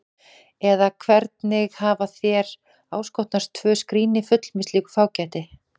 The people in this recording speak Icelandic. Eða hvernig hafa þér áskotnast tvö skríni full með slíku fágæti?